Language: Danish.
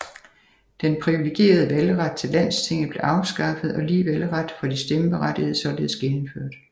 Den privilegerede valgret til landstinget blev afskaffet og lige valgret for de stemmeberettigede således genindført